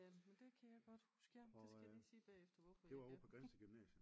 Ja men det kan jeg godt huske ja det skal jeg lige sige bagefter hvorfor jeg kan